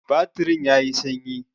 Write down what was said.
Batirin yayi sanyi.